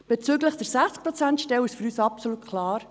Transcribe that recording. Bezüglich der 60-Prozent-Stelle ist es für uns absolut klar: